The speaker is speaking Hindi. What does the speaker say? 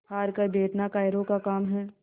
हार कर बैठना कायरों का काम है